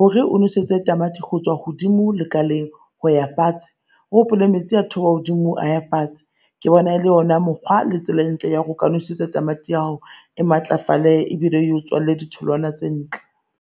Hore o nosetse tamati ho tswa hodimo lekaleng ho ya fatshe, o hopole metsi a theoha hodimo a ya fatshe ke bona e le ona mokgwa le tsela e ntle ya ho ka nosetsa tamati ya hao, e matlafale ebile e o tswalele ditholwana tse ntle.